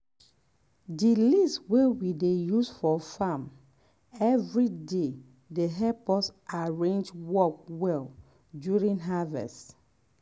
di list wey we dey use for farm every day dey help us arrange work well during harvest.